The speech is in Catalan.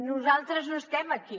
nosaltres no estem aquí